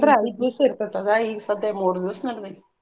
ಐದ್ ದಿವ್ಸ ಇರ್ತೆತಲ್ಲಾ ಈಗ ಸದ್ಯ ಮೂರ್ ದಿವ್ಸ ನಡ್ದೈತಿ.